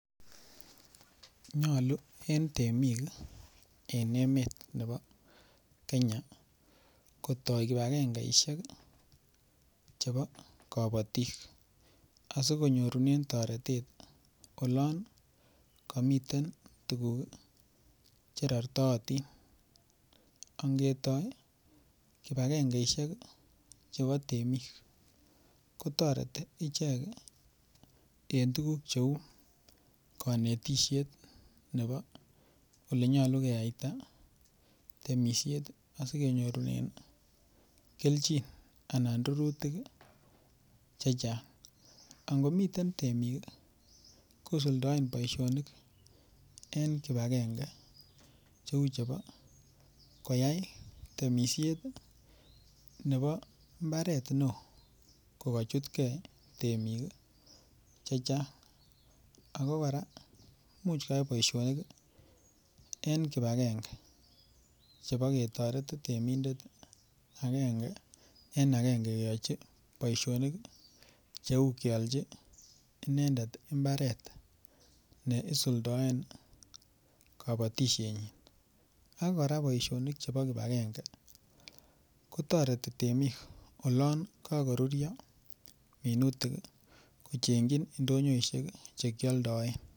Nyolu en temik en emet nebo Kenya kotoi kipegengeishek chebo kobotik asikonyorunen toretet olon komiten tuguk che rortootin. Ongetoi kipagengeishek chebo temik, kotoreti ichek en tuguk cheu konetishet nebo ole nyolu keyaita temisiet asikenyorunen kelchin anan rurutik chechang. Angomiten temik kosuldaen boisionik en kipagenge cheu chebo koyai temisiet nebo mbaret neo kogachutge temik che chang ago kora imuchkoyai boisionik en kipagenge. Chebo ketoret temindet agenge en agenge kiyochi boisionik cheu keolchi inendet mbaret ne isuldaen kobotisienyin ak kora boisionik chebo kipagenge kotoreti temik olon kagoruryo minutik kochengi indonyoishek che kioldoen.